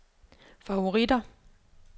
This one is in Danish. favoritter